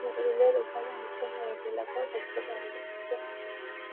Grill -এর ওপারে ও নিচে মহিলাকেও দেখতে পাওয়া যাচ্ছে ।